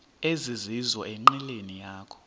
ezizizo enqileni yakho